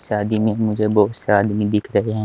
शादी में मुझे बहुत सा आदमी दिख रहे हैं।